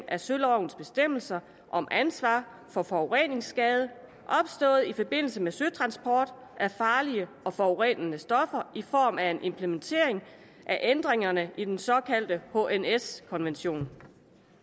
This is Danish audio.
af sølovens bestemmelser om ansvar for forureningsskade opstået i forbindelse med søtransport af farlige og forurenende stoffer i form af en implementering af ændringerne i den såkaldte hns konvention